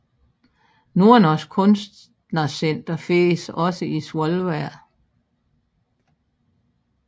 Nordnorsk Kunstnersenter findes også i Svolvær